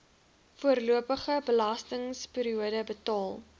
voorlopige belastingperiode betaal